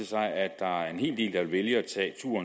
sig at der er en hel del at vælge